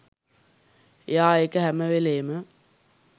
එයා ඒක හැම වෙලේම